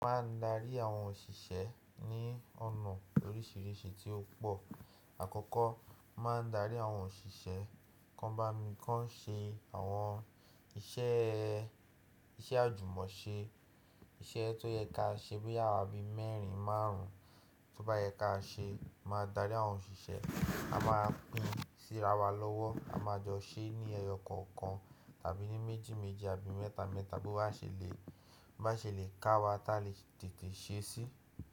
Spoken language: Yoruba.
A màa ń rí àwon onísé ní ònà òrìṣìrìṣìí tí ó pọ̀. Àkọ́kọ́, máa ń darí àwọn òṣìṣẹ́, kan bá mi kan ṣe àwọn iṣẹ́, iṣẹ́ àjùmọ̀ ṣe, iṣẹ́ tó yẹ ká ṣe bí àwa bí mẹ́rin márùn-ún, tó bá yẹ ká ṣe, a máa darí àwọn òṣìṣẹ́, a máa pín sí ara wa lọ́wọ́, a máa jọ ṣe ní ẹyọ kọ̀ọ̀kan àbí ní méjìméjì àbí ní métamẹ́ta, tó bá ṣe lé ká wá, ká lè tẹ̀tẹ́ ṣe é sí.